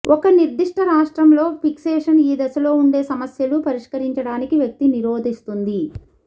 ఒక నిర్దిష్ట రాష్ట్రంలో ఫిక్సేషన్ ఈ దశలో ఉండే సమస్యలు పరిష్కరించడానికి వ్యక్తి నిరోధిస్తుంది